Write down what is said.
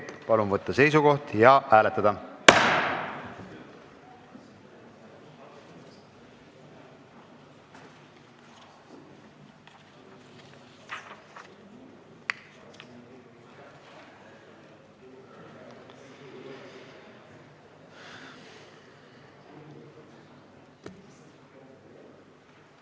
Palun võtta seisukoht ja hääletada!